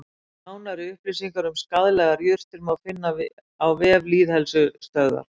Nánari upplýsingar um skaðlegar jurtir má finna á vef Lýðheilsustöðvar.